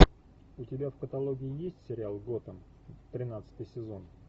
у тебя в каталоге есть сериал готэм тринадцатый сезон